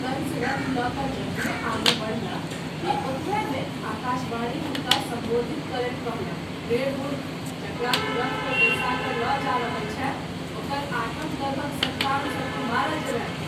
कंस रथ लय क’ जखने आगू बढलाह कि ओतबय मे आकाशवाणी हुनका सम्बोधित करैत कहलक :- रे मूर्ख ! जकरा तू रथ पर बैसा क’ ल’ जा रहल छैँ ओकर आठम गर्भक सन्तान सँ तू मारल जेबह।